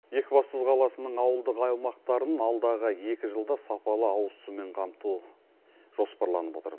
екібастұз қаласының ауылдық аймақтарын алдағы екі жылда сапалы ауыз сумен қамту жоспарланып отыр